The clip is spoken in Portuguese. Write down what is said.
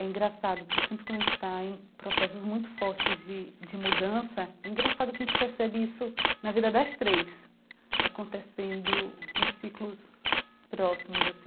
é engraçado, porque sempre quando a gente está em processos muito fortes de de mudança, é engraçado que a gente percebe isso na vida das três, acontecendo em ciclos próximos assim.